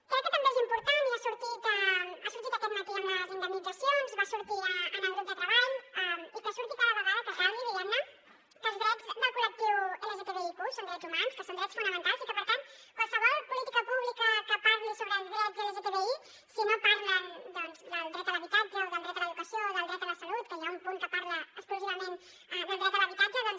crec que també és important i ha sortit aquest matí amb les indemnitzacions va sortir en el grup de treball i que surti cada vegada que calgui diguem ne que els drets del col·lectiu lgtbiq són drets humans que són drets fonamentals i que per tant qualsevol política pública que parli sobre drets lgtbi si no parla del dret a l’habitatge o del dret a l’educació o del dret a la salut que hi ha un punt que parla exclusivament del dret a l’habitatge doncs